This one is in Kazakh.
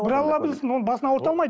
бір алла білсін оның басын ауырта алмайды